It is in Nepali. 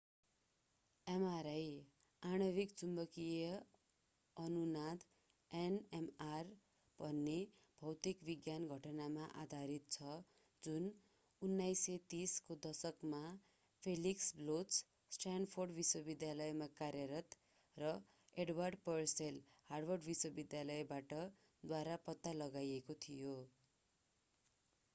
mri आणविक चुम्बकीय अनुनाद nmr भन्ने भौतिक विज्ञान घटनामा आधारित छ जुन 1930 को दशकमा felix bloch स्ट्यानफोर्ड विश्वविद्यालयमा कार्यरत र edward purcell हार्वर्ड विश्वविद्यालयबाट द्वारा पत्ता लगाइएको थियो।